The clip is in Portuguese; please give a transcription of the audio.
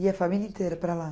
Ia a família inteira para lá?